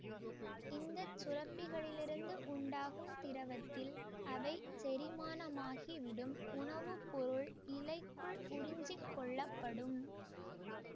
இந்த சுரப்பிகளிலிருந்து உண்டாகும் திரவத்தில் அவை செரிமானமாகிவிடும் உணவு பொருள் இலைக்குள் உறிஞ்சிக் கொள்ளப்படும்